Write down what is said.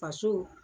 Faso